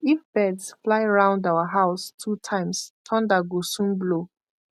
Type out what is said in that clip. if birds fly round our house two times thunder go soon blow